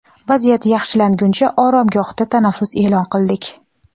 vaziyat yaxshilanguncha oromgohda tanaffus e’lon qildik.